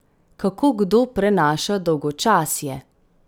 Kako kdo prenaša dolgočasje?